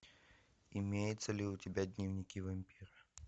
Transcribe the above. имеется ли у тебя дневники вампира